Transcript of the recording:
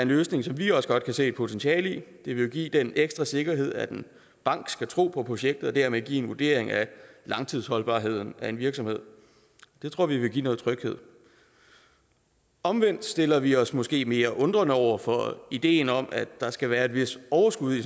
løsning som vi også godt kan se et potentiale i det vil give den ekstra sikkerhed at en bank skal tro på projektet og dermed give en vurdering af langtidsholdbarheden af virksomheden det tror vi vil give noget tryghed omvendt stiller vi os måske mere undrende over for ideen om at der skal være et vist overskud i